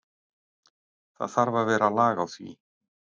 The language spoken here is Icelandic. Það þarf að vera lag á því.